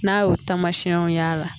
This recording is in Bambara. N'a y'o taamasiyɛnw y'a la,